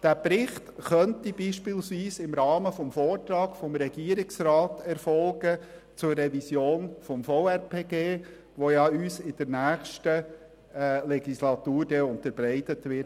Dieser Bericht könnte beispielsweise im Rahmen des Vortrags des Regierungsrats zur Revision des Gesetzes über die Verwaltungsrechtspflege (VRPG) erfolgen, der uns in der nächsten Legislaturperiode unterbreitet wird.